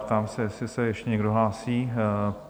Ptám se, jestli se ještě někdo hlásí?